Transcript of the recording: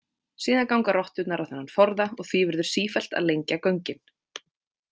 Síðan ganga rotturnar á þennan forða og því verður sífellt að lengja göngin.